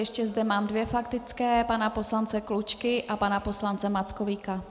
Ještě zde mám dvě faktické - pana poslance Klučky a pana poslance Mackovíka.